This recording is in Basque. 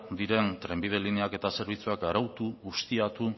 diten trenbide lineak eta zerbitzuak aratu ustiatu